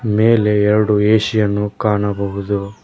ಮೇಲೆ ಎರಡು ಏ_ಸಿ ಯನ್ನು ಕಾಣಬಹುದು.